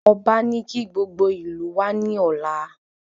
Ọba ní kí gbogbo ìlú wá ní ọ̀la